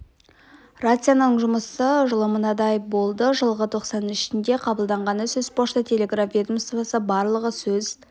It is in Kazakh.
рацияның жұмысы жылы мынадай болды жылғы тоқсан ішінде қабылданғаны сөз пошта-телеграф ведомствосы барлығы сөз